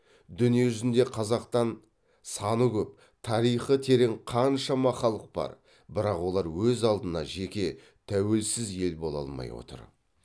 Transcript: дүние жүзінде қазақтан саны көп тарихы терең қаншама халық бар бірақ олар өз алдына жеке тәуелсіз ел бола алмай отыр